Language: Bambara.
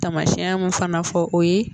Taamasiyɛn mun fana fɔ o ye